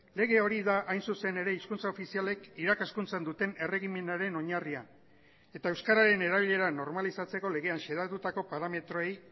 lege hori da hain zuzen ere hizkuntza ofizialek irakaskuntzan duten erregimenaren oinarria eta euskararen erabilera normalizatzeko legean xedatutako parametroei